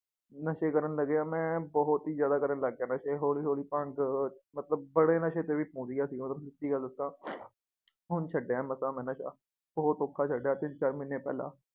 ਨਸ਼ੇ ਕਰਨ ਲੱਗਿਆ ਮੈ ਬਹੁਤ ਈ ਜ਼ਿਆਦਾ ਕਰਨ ਲਗ ਗਿਆ ਨਸ਼ੇ ਹੌਲੀ ਹੌਲੀ ਭੰਗ ਮਤਲਬ ਬੜੇ ਨਸ਼ੇ ਤੇ ਵੀ ਪਹੁੰਚ ਗਿਆ ਸੀਗਾ ਓਦੋਂ ਸੱਚੀ ਗੱਲ ਦਸਾਂ ਹੁਣ ਛੱਡਿਆ ਏ ਮਸਾਂ ਮੈ ਨਸ਼ਾ ਬਹੁਤ ਔਖਾ ਛਡਿਆ ਏ ਤਿੰਨ ਚਾਰ ਮਹੀਨੇ ਪਹਿਲਾਂ